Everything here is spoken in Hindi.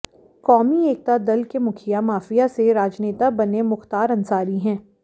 कौमी एकता दल के मुखिया माफिया से राजनेता बने मुख्तार अंसारी हैं